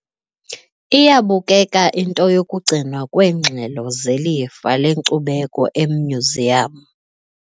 Iyabukeka into yokugcinwa kweengxelo zelifa lenkcubeko emyuziyamu.